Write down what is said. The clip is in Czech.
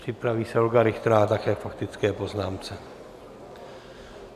Připraví se Olga Richterová, také k faktické poznámce.